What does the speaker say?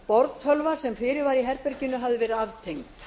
borðtölva sem fyrir var í herberginu hafði verið aftengd